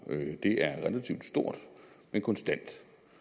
det er relativt stort men konstant